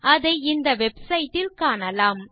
அதை இந்த வெப்சைட் ல் காணலாம்